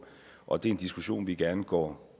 og det er en diskussion vi gerne går